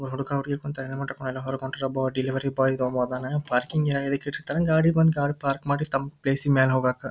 ಹುಡುಗ ಹುಡುಗಿ ಕುಂತರ್ ಹೊರಗ್ ಹೊಂಟರ್ ಡೆಲಿವರಿ ಬಾಯ್ ಅದ್ನ್ ಪಾರ್ಕಿಂಗ್ ಯದ್ಕ್ ಇಟ್ಟಿರತ್ತರೆ ಗಾಡಿ ಬಂದಿ ಗಾರ್ಡ್ ಪಾರ್ಕ್ ಮಾಡಿ ತಮ್ಮ ಪ್ಲೇಸ್ ಮೇಲ್ ಹೋಗಕ್.